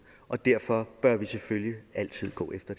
og derfor bør vi selvfølgelig altid gå efter